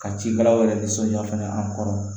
Ka cikɛlaw yɛrɛ nisɔnja fɛnɛ an kɔrɔ